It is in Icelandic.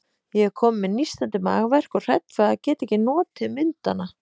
Ég er komin með nístandi magaverk og hrædd við að geta ekki notið myndanna.